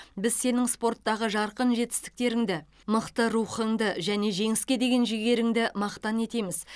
біз сенің спорттағы жарқын жетістіктеріңді мықты рухыңды және жеңіске деген жігеріңді мақтан етеміз